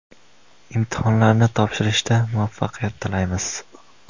Imtihonlarni topshirishda muvaffaqiyat tilaymiz!